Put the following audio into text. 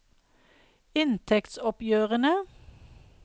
inntektsoppgjørene